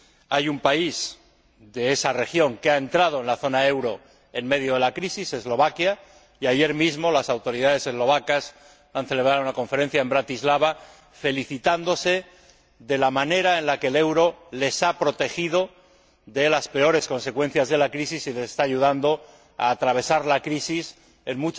Hay un país de esa región que ha entrado en la zona del euro en medio de la crisis, Eslovaquia, y, ayer mismo, las autoridades eslovacas celebraron una conferencia en Bratislava felicitándose de la manera en que el euro les ha protegido de las peores consecuencias de la crisis y les está ayudando a atravesar la crisis en